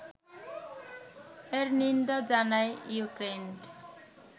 এর নিন্দা জানায় ইউক্রেইন